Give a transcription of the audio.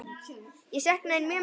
Ég sakna þín mjög mikið.